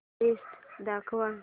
list दाखव